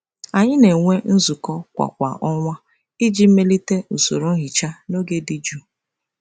Anyị na-enwe nzukọ kwa kwa ọnwa iji melite usoro nhicha na oge dị jụụ.